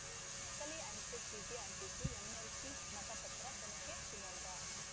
ನಕಲಿ ಅಂಚೆ ಚೀಟಿ ಅಂಟಿಸಿ ಎಂಎಲ್ಸಿ ಮತಪತ್ರ ತನಿಖೆ ಶಿವಮೊಗ್ಗ